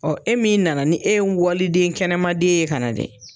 Ɔɔ e min nana ni e ye waliden kɛnɛmaden ye ka na dɛ